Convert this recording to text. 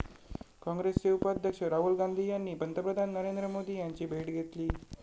काँग्रेसचे उपाध्यक्ष राहुल गांधी यांनी पंतप्रधान नरेंद्र मोदी यांची भेट घेतली